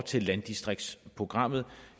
til landdistriktsprogrammet